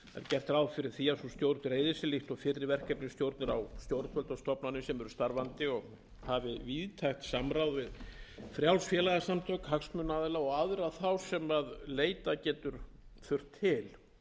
gert er ráð fyrir að sú stjórn dreifi sér líkt og fyrri verkefnisstjórnir á stjórnvöld og stofnanir sem eru starfandi og hafi víðtækt samráð við frjáls félagasamtök hagsmunaaðila og aðra þá sem leita getur þurft